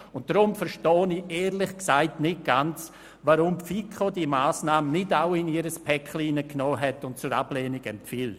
Deshalb verstehe ich ehrlich gesagt nicht ganz, weshalb die FiKo diese Massnahme nicht auch in ihr Päcklein eingeschlossen und zur Ablehnung empfohlen hat.